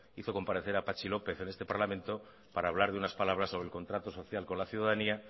hizo comparecer a patxi lópez en este parlamento para hablar de unas palabras sobre el contrato social con la ciudadanía